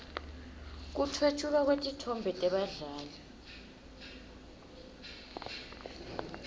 kutfwetjulwa kwetitfombe tebadlali